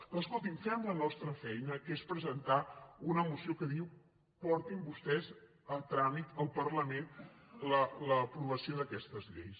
doncs escolti fem la nos·tra feina que és presentar una moció que diu por·tin vostès a tràmit al parlament l’aprovació d’aques·tes lleis